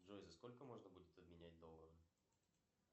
джой за сколько можно будет обменять доллар